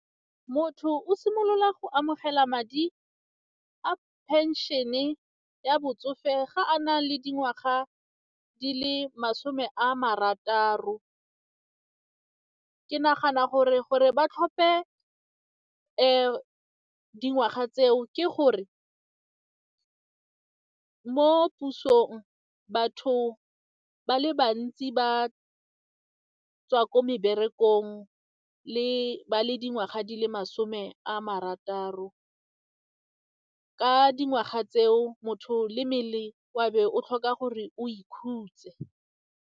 Motho o simolola go amogela madi a pension-e ya botsofe ga a na le dingwaga di le masome a marataro, ke nagana gore gore ba tlhope dingwaga tseo ke gore mo pusong batho ba le bantsi ba tswa ko meberekong ba le dingwaga di le masome a marataro ka dingwaga tseo motho le mmele wa be o tlhoka gore o ikhutse.